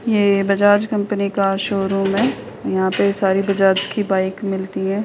ये बजाज कंपनी का शोरूम है। यहाँ पे सारी बजाज की बाइक मिलती हैं।